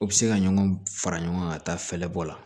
U bɛ se ka ɲɔgɔn fara ɲɔgɔn ka taa fɛlɛbɔ la